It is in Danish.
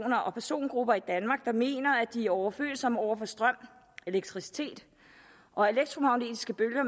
og persongrupper i danmark der mener at de er overfølsomme over for strøm elektricitet og elektromagnetiske bølger